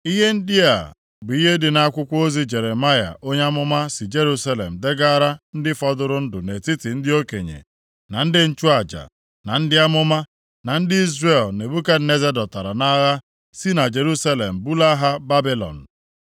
Ihe ndị a bụ ihe dị nʼakwụkwọ ozi Jeremaya onye amụma si Jerusalem degaara ndị fọdụrụ ndụ nʼetiti ndị okenye, na ndị nchụaja, na ndị amụma, na ndị Izrel Nebukadneza dọtara nʼagha si na Jerusalem bulaa ha Babilọn.